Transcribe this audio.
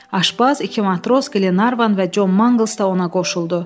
Aşbaz, iki matros, Qlenarvan və Con Mangls da ona qoşuldu.